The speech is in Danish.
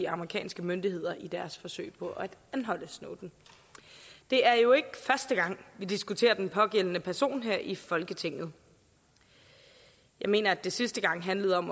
amerikanske myndigheder i deres forsøg på at anholde snowden det er jo ikke første gang vi diskuterer den pågældende person her i folketinget jeg mener at det sidste gang handlede om